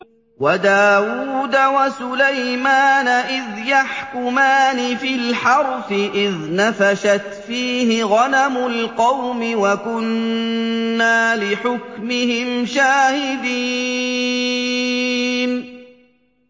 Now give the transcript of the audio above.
وَدَاوُودَ وَسُلَيْمَانَ إِذْ يَحْكُمَانِ فِي الْحَرْثِ إِذْ نَفَشَتْ فِيهِ غَنَمُ الْقَوْمِ وَكُنَّا لِحُكْمِهِمْ شَاهِدِينَ